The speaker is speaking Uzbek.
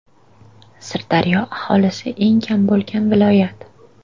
Sirdaryo aholisi eng kam bo‘lgan viloyat.